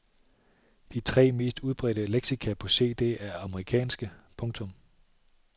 De tre mest udbredte leksika på cd er amerikanske. punktum